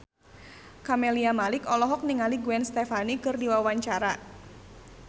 Camelia Malik olohok ningali Gwen Stefani keur diwawancara